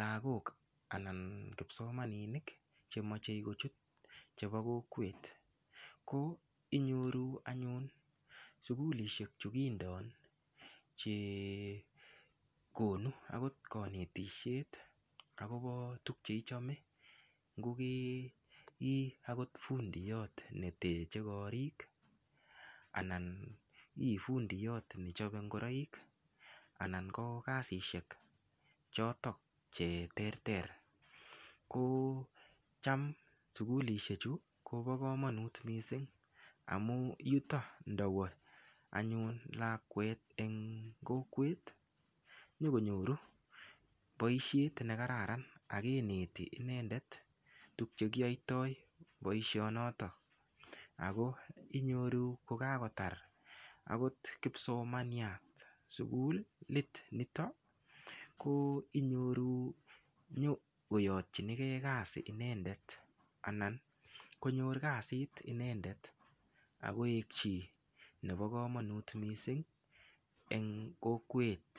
lakok anan ko kipsomaninik chemochei kochut chebo kokwet ko inyoru anyun sukulishek chukindon chekonu akot kanetishet akobo tukcheichome ngokei akot fundiot netechei korik anan Ii fundiyot nechopei ngoroik anan ko kasishek chotok che ter ter ko cham sukulishek chu Kobo komonut mising amu yuto ndawo anyun lakwet eng kokwet nyokonyoru boishet nekararan akeneti inendet tukche kinyoitoi boishonotobako ako inyoru kokakotar akot kipsomaniat sukulit nito ko inyoru nyokoyotchinigee kazi inendet anan konyor kasit inendet akoek chii nebo komonut mising eng kokwet.